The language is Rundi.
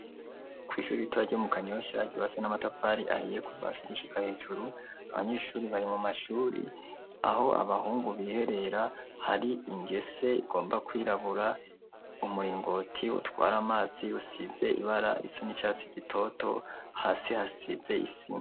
Kw'ishuri ritoya ryo mu kanyosha ryubatse n'amatafari ahiye kuva hasi gushika hejuru abanyeshuri bari mu mashuri. Aho abahungu biherera hari ingese igomba kwirabura, umuringoti utwara amazi usize ibara risa n'icatsi gitoto, hasi hasize isima.